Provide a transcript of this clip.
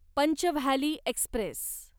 Pench Valley Express